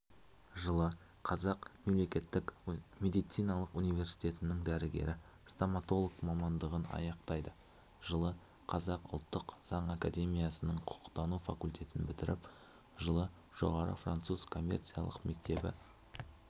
жылы қазақ мемлекеттік медициналық университетінің дәрігер-стоматолог мамандығын аяқтайды жылы қазақ ұлттық заң академиясының құқықтану факультетін бітіріп жылы жоғары француз коммерция мектебінде